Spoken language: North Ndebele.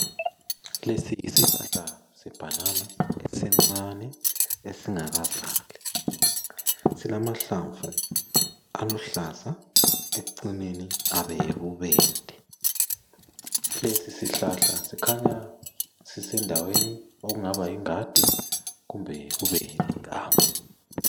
Lesi yisihlahla sebhanana esincane, esingakazali. Silamahlamvu aluhlaza, ekucineni abe yibubende. Lesi sihlahla sikhanya sisendaweni okungaba yingadi kumbe kube liganga.